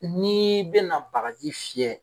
N'ii bɛna bagaji fiyɛ